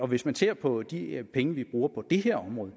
hvis man ser på de penge vi bruger på det her område